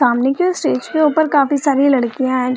सामने की और स्टेज के ऊपर काफी सारी लड़कियाँ हैं।